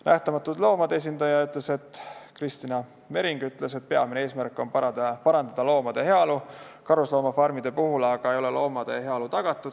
Nähtamatute Loomade esindaja Kristina Mering ütles, et peamine eesmärk on parandada loomade heaolu, karusloomafarmides aga ei ole loomade heaolu tagatud.